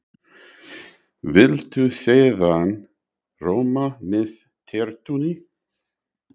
Viltu sýrðan rjóma með tertunni?